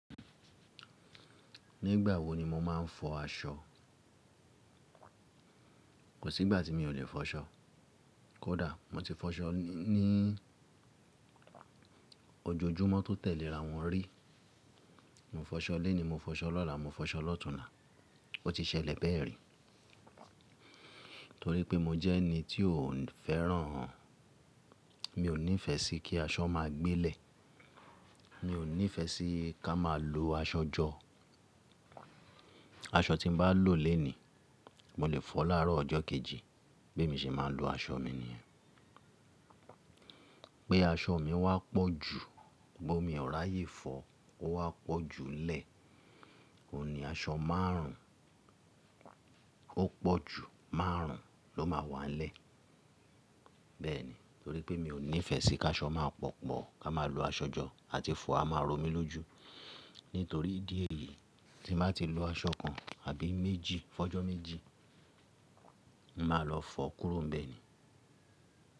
Nígbà wo ni mo máa ń fọ aṣọ? Kò sí ìgbà tí mi ò lè fọ aṣọ. Kódà mo ti fọ aṣọ ní ojojúmọ́ tó tẹ̀lé ra wọn rí. Mo fọ aṣọ léni, mo fọ aṣọ lọ́la, mo fọ aṣọ lọ́tùnla. Ó ti ṣẹlẹ̀ bẹ́ẹ̀ rí. Torí pé mo jẹ́ ẹni tí ò fẹ́ràn-- mi ò nífẹ̀ẹ́ sí kí aṣọ máa gbé lẹ̀. Mi ò nífẹ̀ẹ́ sí ká máa lo aṣọ jọ. Aṣọ tí n bá lò léni, mo lè fọ láàárọ̀ ọjọ́ kejì bí emi ṣe máa ń lo aṣọ mi ni yen. Pé aṣọ mi wá pọ̀ ju, bóya mi ò rà yé fọọ, ó wá pọ̀ ju n lẹ̀, òun ní aṣọ márùn ún, ó pọ̀ ju márùn ún ló máa wà n lẹ́. Bẹ́ẹ̀ ni, torí pé mi ò nífẹ̀ẹ́ sí ká aṣọ máa pọ̀pọ̀, ká máa lo aṣọ jọ àti fọ̀ á máa romi lójú. Nítorí ìdí èyí tí n bàá ti lo aṣọ kan àbí méjì, fọ̀jọ́ méjì, màá lọ fọ kúrò n bẹ́ẹ̀ ni.